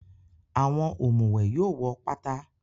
Àwọn òmùwẹ̀ yóò wọ́ pátá.